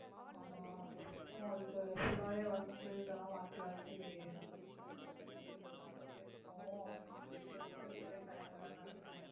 ஆமா உங்களுக்கு full ஆவே work உ இதெல்லாம் மாத்தி மாத்தி வந்துட்டேயிருக்கவும் rest எடுக்கவே time இல்லைனு நினைக்கறேன்